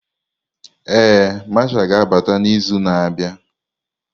Ee, Mashal ga-abata n'izu na-abịa.